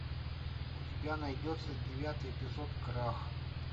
у тебя найдется девятый эпизод крах